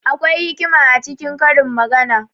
Akwai hikima a cikin karin magana.